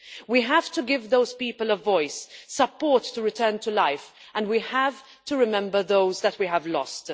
We have to give those people a voice, support to return to life, and we have to remember those we have lost.